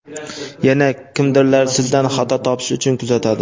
yana kimdirlar sizdan xato topish uchun kuzatadi.